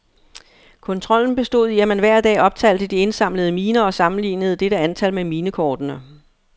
Kontrollen bestod i, at man hver dag optalte de indsamlede miner og sammenlignede dette antal med minekortene.